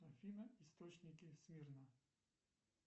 афина источники смирно